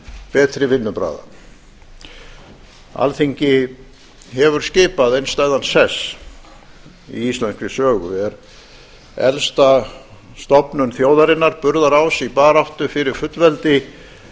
betri vinnubragða alþingi hefur skipað einstæðan sess í íslenskri sögu er elsta stofnun þjóðarinnar burðarás í baráttu fyrir fullveldi